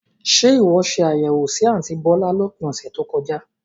Ṣe ìwọ ṣe àbẹ̀wò sì àntí bọ̀lá lópin ọ̀sẹ̀ tó kọjá?